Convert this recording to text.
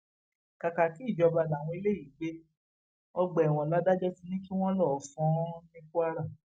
kàkàkí ìjọba làwọn eléyìí gbé ọgbà ẹwọn ládàjọ ti ní kí wọn lọọ fọn ọn ní kwara